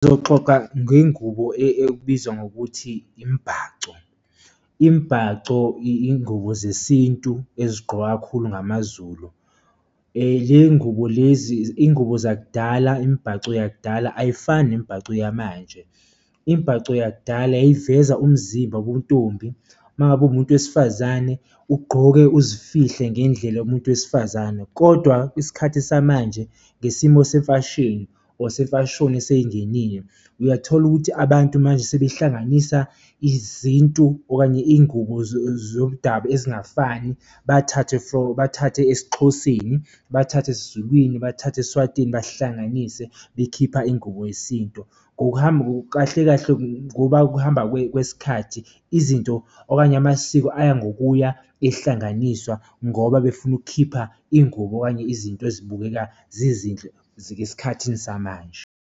Ngizoxoxa ngengubo ekubizwa ngokuthi imibhaco. Imibhaco iy'ngubo zesintu ezigqokwa kakhulu ngamaZulu. Le y'ngubo lezi iy'ngubo zakudala, imibhaco yakudala ayifani nemibhaco yamanje. Imbhaco yakudala yayiveza umzimba bobuntombi, uma ngabe uwumuntu wesifazane ugqoke uzifihle ngendlela yomuntu wesifazane kodwa isikhathi samanje ngesimo semfashinini or semfashoni eseyingenile, uyathola ukuthi abantu manje sebehlanganisa izintu okanye iy'ngubo zomdabu ezingafani, bathathe from, bathathe esiXhoseni, bathathe esiZulwini, bathathe esiSwatini bahlanganise bekhipha ingubo yesintu. Ngokuhamba, kahle kahle ngoba ukuhamba kwesikhathi izinto okanye amasiko aya ngokuya ehlanganiswa ngoba befuna ukukhipha iy'ngubo okanye izinto ezibukeka zizinhle zikesikhathini samanje.